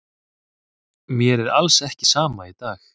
Mér er alls ekki sama í dag.